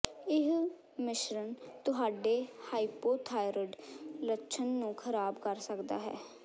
ਇਹ ਮਿਸ਼ਰਨ ਤੁਹਾਡੇ ਹਾਈਪੋਥੋਰਾਈਡ ਲੱਛਣ ਨੂੰ ਖ਼ਰਾਬ ਕਰ ਸਕਦਾ ਹੈ